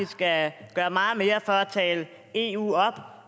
skal gøre meget mere for at tale eu op